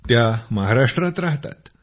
त्या महाराष्ट्रात राहतात